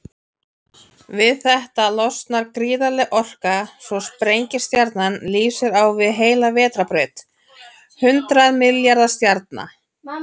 Við þetta losnar gríðarleg orka, svo sprengistjarnan lýsir á við heila vetrarbraut hundrað milljarða stjarna.